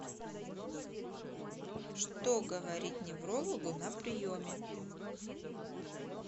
что говорить неврологу на приеме